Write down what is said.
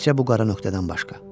Təkcə bu qara nöqtədən başqa.